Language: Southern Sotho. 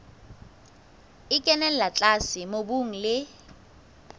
e kenella tlase mobung le